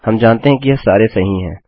हम जानते हैं कि यह सारे सही हैं